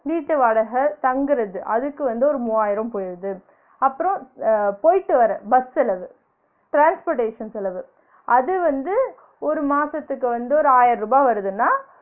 வீட்டு வாடக தங்குறது அதுக்கு வந்து ஒரு மூவாயிரம் போகுது அப்றம் அஹ் போயிட்டு வர பஸ் செலவு transportation செலவு அது வந்து ஒரு மாசத்துக்கு வந்து ஒரு ஆயருபா வருதுனா?